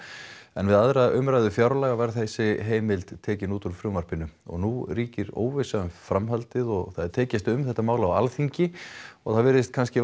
en við aðra umræðu fjárlaga var þessi heimild tekin út úr frumvarpinu og nú ríkir óvissa um framhaldið og það er tekist á um þetta mál á Alþingi og það virðist kannski